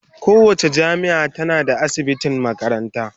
Kowace jami'a tana da asibitin makaranta.